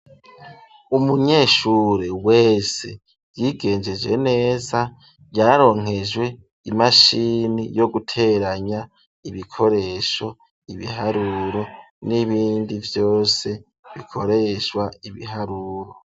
Umunyeshure wese, yigengeje neza, yaronkejwe imashini, yo guteranya ibikoresho; ibiharuro n'ibindi vyose, bikoreshwa ibiharuro.